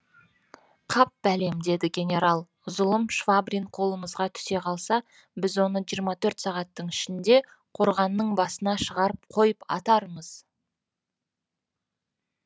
қап бәлем деді генерал зұлым швабрин қолымызға түсе қалса біз оны жиырма төрт сағаттың ішінде қорғанның басына шығарып қойып атармыз